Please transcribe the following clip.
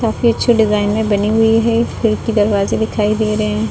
काफी अच्छी डिजाइनर बनी हुई है खिड़की दरवाजे दिखाई दे रहे हैं।